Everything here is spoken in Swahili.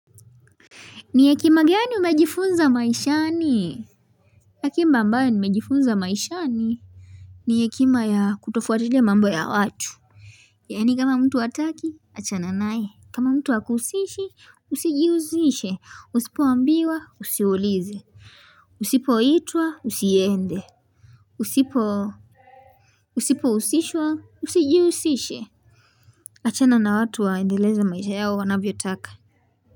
Ni hekima gani umejifunza maishani? Hekima ambayo nimejifunza maishani ni hekima ya kutofuatilia mambo ya watu. Yaani kama mtu hataki, achana nae. Kama mtu hakusishi, usijihusishe. Usipoambiwa, usiulize. Usipoitwa, usiende. Usipohusishwa, usijihusishe. Achana na watu waendeleza maisha yao wanavyotaka.